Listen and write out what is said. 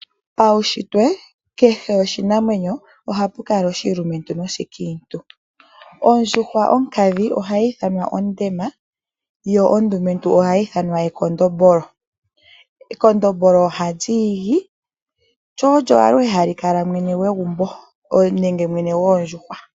Paunshitwe kehe oshinamwenyo ohapu kala oshilumentu noshikiintu. Ondjuhwa onkadhi ohayi ithanwa onkadhindjuhwa yo ondumentu ohayi ithanwa ekondombolo. Ekondombolo ohali igi lyo olyo aluhe hali kala mwene goondjuhwa.